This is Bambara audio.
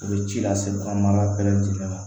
U bɛ ci lase an ma ala bɛɛ lajɛlen ma